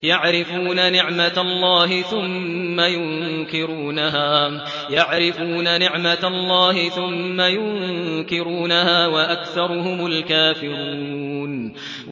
يَعْرِفُونَ نِعْمَتَ اللَّهِ ثُمَّ يُنكِرُونَهَا وَأَكْثَرُهُمُ الْكَافِرُونَ